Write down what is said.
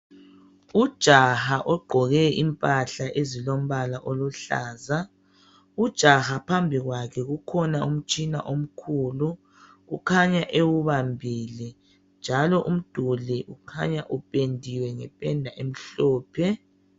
Ujaha ogqoke impahla ezilombala oluhlaza .Ujaha phambikwakhe kukhona umtshina omkhulu ,ukhanya ewubambile .Njalo umduli ukhanya uphendiwe ngephenda emhlophe.